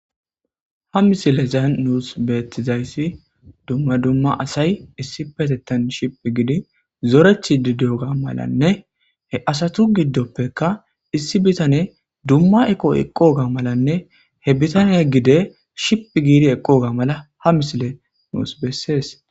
Ha misilezan nuus beettizayssi dumma dumma asay issipetettan shiphi giidi zoretiidi diyoga malanne he asatu giddoppeka issi bitaney dumma eqo eqooga malane he bitaney gede shiphi giidi eqooga mala ha misiley nus bessees.